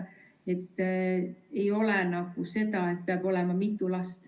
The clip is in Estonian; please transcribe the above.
Ei ole nii, et peab olema mitu last.